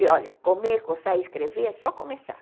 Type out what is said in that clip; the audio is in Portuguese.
E olha, comer, coçar e escrever é só começar.